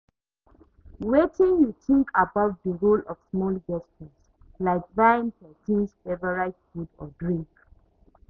Wetin you think about di role of small gestures, like buying pesin's favorite food or drink?